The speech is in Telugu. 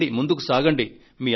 రండి ముందుకు సాగండి